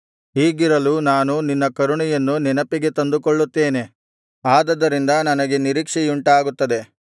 ಹೀಗಿರಲು ನಾನು ನಿನ್ನ ಕರುಣೆಯನ್ನು ನೆನಪಿಗೆ ತಂದುಕೊಳ್ಳುತ್ತೇನೆ ಅದರಿಂದ ನನಗೆ ನಿರೀಕ್ಷೆಯುಂಟಾಗುತ್ತದೆ